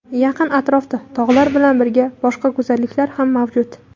Yaqin atrofda tog‘lar bilan birga, boshqa go‘zalliklar ham mavjud.